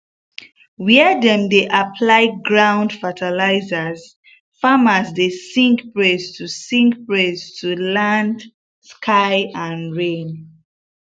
when dem dey apply ground fertilizer farmers dey sing praise to sing praise to land sky and rain